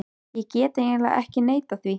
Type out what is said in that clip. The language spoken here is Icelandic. Ég get eiginlega ekki neitað því.